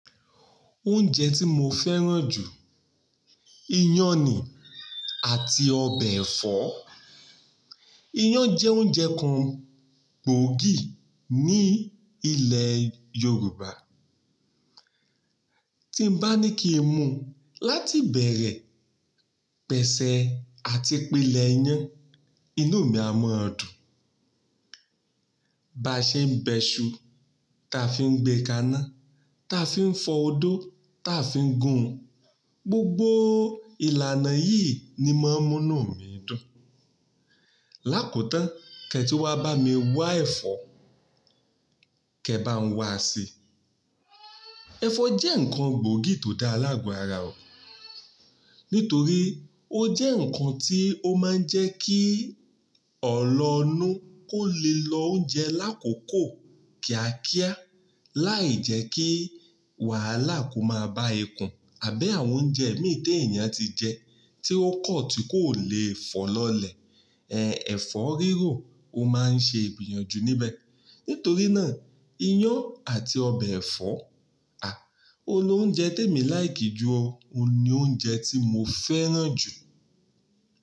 Oúnjẹ tí mo fẹ́ràn jù, iyán ni àti ọbẹ̀ ẹ̀fọ́. Iyán jẹ́ oúnjẹ kan gbòógì ní ilẹ̀ Yorùbá. Tí n bá ní kí n mu láti bẹ̀rẹ̀, pẹ̀sẹ̀ àti pílẹ̀ iyán, inú mi á mọ́ dun. Ba ṣe ń bẹṣu, táa fi ń gbé ká'na, táa fi ń fọ odó, táa fi ń gun. Gbogbo ìlànà yìí ni máa ń mú inú mi dùn. Lákotán, kí ẹ tí wá bá mi wá ẹ̀fọ́, kí ẹ bá a ń wá sii, ẹ̀fọ́ jẹ́ ǹkan gbòógì tó dá laago ara ọ̀. Nítorí ó jẹ́ ǹkan tí ó máa ń jẹ́ kí ọ̀lọnú kó le lo oúnjẹ lákòókò kíákíá. Láì jẹ́ kí wàhálà kó máa ba ikun àbí àwọn oúnjẹ imi ti e èèyàn tí jẹ, tí ó kọ̀ tí kò le fọ̀ lọlẹ̀. Ẹ̀fọ́ rírò ó máa ń ṣe ìbìyànjú níbẹ̀. Nítorí náà, iyán àti ọbẹ̀ ẹ̀fọ́, à, òun l'oúnjẹ tí èmi láìkì jú ọ. Ó ni oúnjẹ tí mo fẹ́ràn jù.